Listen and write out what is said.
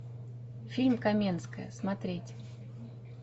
фильм каменская смотреть